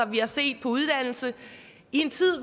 vi har set på uddannelse i en tid